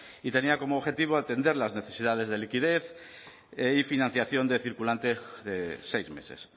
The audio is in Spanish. y tenía como objetivo atender las necesidades de liquidez y financiación de circulante de seis meses